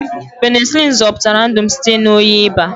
Penisilinu zọpụtara ndụ m site na oyi baa.